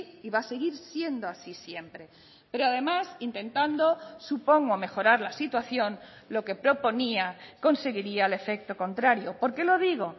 y va a seguir siendo así siempre pero además intentando supongo mejorar la situación lo que proponía conseguiría el efecto contrario por qué lo digo